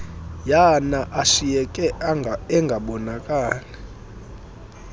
yana ashiyeke engabonakali